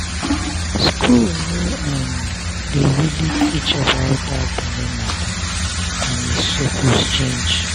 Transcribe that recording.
school no um dey really teach about that belle matter and e suppose change.